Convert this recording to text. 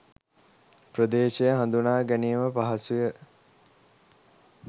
ප්‍රදේශය හඳුනා ගැනීම පහසුය